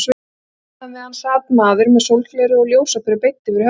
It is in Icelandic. Innan við hann sat maður með sólgleraugu og ljósaperu beint yfir höfðinu.